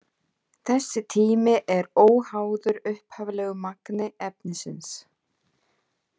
Þessi tími er óháður upphaflegu magni efnisins.